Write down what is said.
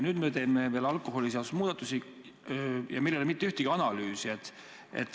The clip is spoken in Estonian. Nüüd me teeme alkoholiseaduse muudatusi, aga meil ei ole mitte ühtegi analüüsi.